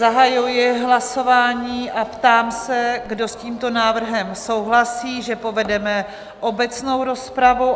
Zahajuji hlasování a ptám se, kdo s tímto návrhem souhlasí, že povedeme obecnou rozpravu?